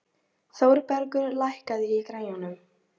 Þórbergur, lækkaðu í græjunum.